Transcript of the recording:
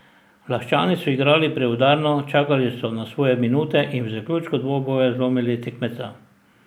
Laščani so igrali preudarno, čakali na svoje minute in v zaključku dvoboja zlomili tekmeca.